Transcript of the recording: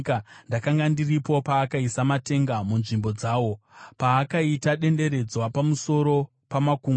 Ndakanga ndiripo paakaisa matenga munzvimbo dzawo, paakaita denderedzwa pamusoro pamakungwa,